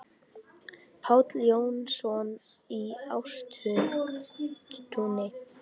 Páll Jónsson í Ástúni